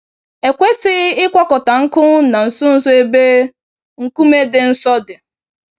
E kwesịghị ịkwakọta nkụ na nso nso ebe nkume dị nsọ dị